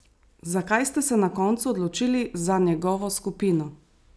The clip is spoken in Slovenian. Zakaj ste se na koncu odločili za njegovo skupino?